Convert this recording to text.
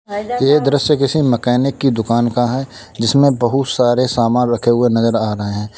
यह दृश्य किसी मैकेनिक की दुकान का है जिसमें बहुत सारे सामान रखे हुए नजर आ रहे हैं।